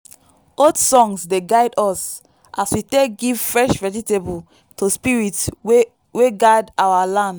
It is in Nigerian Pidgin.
old songs dey guide us as we take give fresh vegetable to spirits wey guard our land.